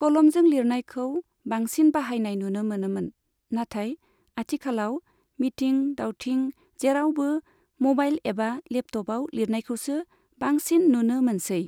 कलमजों लिरनायखौ बांसिन बाहायनाय नुनो मोनोमोन, नाथाय आथिखालाव मिथिं दावथिं जेरावबो मबाइल एबा लेपटपआव लिरनायखौसो बांसिन नुनो मोनसेै ।